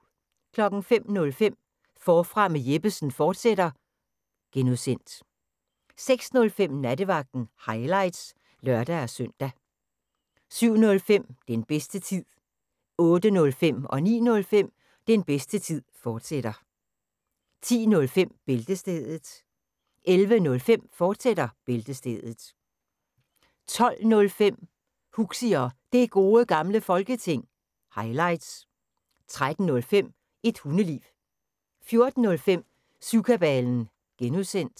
05:05: Forfra med Jeppesen fortsat (G) 06:05: Nattevagten – highlights (lør-søn) 07:05: Den bedste tid 08:05: Den bedste tid, fortsat 09:05: Den bedste tid, fortsat 10:05: Bæltestedet 11:05: Bæltestedet, fortsat 12:05: Huxi og Det Gode Gamle Folketing – highlights 13:05: Et Hundeliv 14:05: Syvkabalen (G)